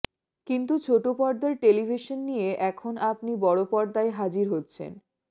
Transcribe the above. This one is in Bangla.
কিন্তু ছোট পর্দার টেলিভিশন নিয়ে এখন আপনি বড় পর্দায় হাজির হচ্ছেন